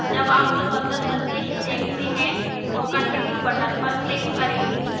जब आप सफलता संदेश देखते हैं तो continue button पर click करें